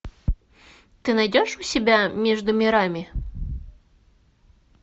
ты найдешь у себя между мирами